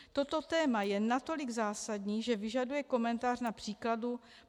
Toto téma je natolik zásadní, že vyžaduje komentář na příkladu.